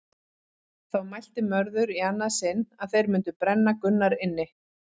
Þá mælti Mörður í annað sinn að þeir mundu brenna Gunnar inni.